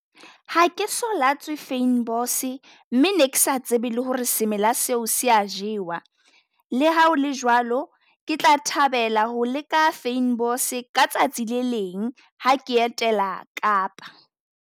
Ha ke so lwatse fynbos, mme ne ke sa tsebe le ho re semela seo se a jewa. Le ha ho le jwalo, ke tla thabela ho le ka fynbos ka tsatsi le leng ha ke etela Kapa.